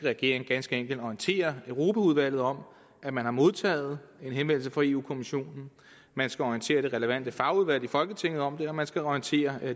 regering ganske enkelt skal orientere europaudvalget om at man har modtaget en henvendelse fra europa kommissionen man skal orientere det relevante fagudvalg i folketinget om det og man skal orientere